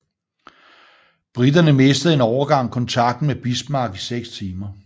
Briterne mistede en overgang kontakten med Bismarck i seks timer